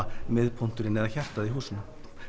miðpunkturinn eða hjartað í húsinu